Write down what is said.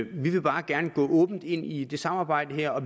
vi vil bare gerne gå åbent ind i det samarbejde her og